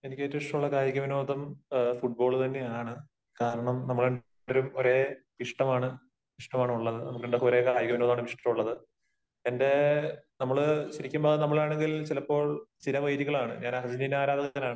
എനിക്ക് ഏറ്റവും ഇഷ്ടമുള്ള കായിക വിനോദം ഫുട്ബോൾ തന്നെയാണ്. കാരണം, നമ്മൾ എല്ലാരും ഒരേ ഇഷ്ടമാണ്, ഇഷ്ടമാണുള്ളത്. നമുക്ക് രണ്ടാൾക്കും ഒരേ കായിക വിനോദമാണ് ഇഷ്ടമുള്ളത്. എന്റെ, നമ്മള് ശരിക്കും പറഞ്ഞാൽ, നമ്മളാണെങ്കിൽ ചിലപ്പോൾ ചിരവൈരികളാണ്. ഞാൻ അർജന്റീന ആരാധകനാണ്